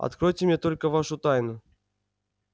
откройте мне только вашу тайну